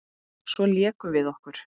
Svo lékum við okkur.